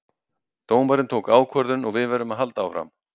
Dómarinn tók ákvörðun og við verðum að halda áfram